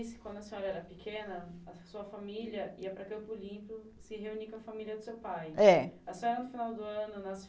que quando a senhora era pequena, a sua família ia para Campo Limpo se reunir com a família do seu pai. É. A senhora no final do ano nas